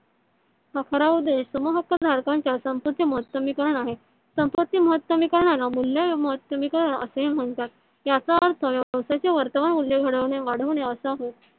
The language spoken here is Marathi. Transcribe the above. समहक्क धारकांच्या संपतीचे महतमी करण आहे संपत्ति महतमी कारणाला मूल्य महतमी कारण असे म्हणतात. याचा अर्थ व्यवसायाचे वर्तमान मूल्य घडविणे वाढविणे असा होय.